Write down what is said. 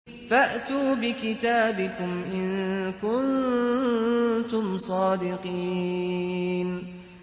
فَأْتُوا بِكِتَابِكُمْ إِن كُنتُمْ صَادِقِينَ